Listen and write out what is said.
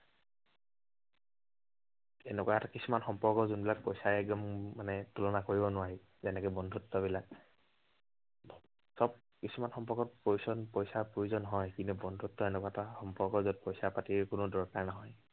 এনেকুৱা এটা কিছুমান সম্পৰ্ক যোনবিলাক পইচাৰে একদম উম মানে তুলনা কৰিব নোৱাৰি। যেনেকে বন্ধুত্ববিলাক। সৱ, কিছুমান সম্পৰ্কত পইচৰ, পইচাৰ প্ৰয়োজন হয়, কিন্তু বন্ধুত্ব এনেকুৱা এটা সম্পৰ্ক যত পইচা পাতিৰ কোনো দৰকাৰ নহয়।